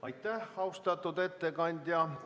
Aitäh, austatud ettekandja!